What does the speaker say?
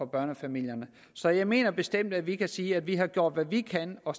børnefamilierne så jeg mener bestemt vi kan sige at vi har gjort hvad vi kan og